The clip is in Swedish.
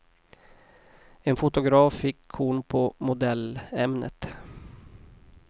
En fotograf fick korn på modellämnet.